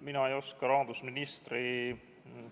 Mina ei oska rahandusministri